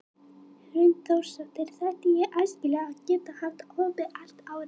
Hrund Þórsdóttir: Þætti þér æskilegt að geta haft opið allt árið?